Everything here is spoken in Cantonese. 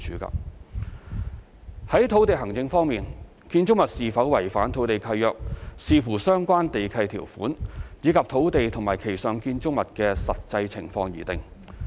在土地行政方面，建築物是否違反土地契約，視乎相關地契條款，以及土地及其上建築物的實際情況而定。